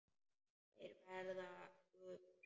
Þeir verða gufur.